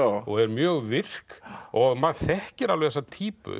og er mjög virk og maður þekkir alveg þessa